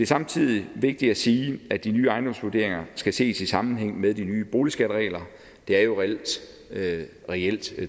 samtidig vigtigt at sige at de nye ejendomsvurderinger skal ses i sammenhæng med de nye boligskatteregler det er jo reelt